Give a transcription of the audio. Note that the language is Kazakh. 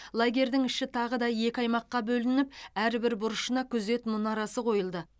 лагердің іші тағы да екі аймаққа бөлініп әрбір бұрышына күзет мұнарасы қойылды